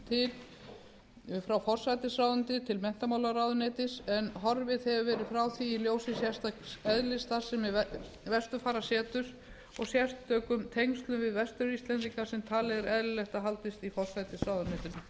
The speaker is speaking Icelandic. til frá forsætisráðuneyti til menntamálaráðuneytis en horfið hefur verið frá því í ljósi sérstaks eðlis starfsemi vesturfarasetur og sérstökum tengslum við vestur íslendinga sem talið er eðlilegt að haldist í forsætisráðuneytinu